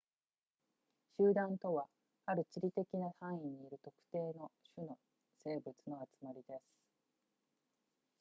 集団とはある地理的な範囲にいる特定の種の生物の集まりです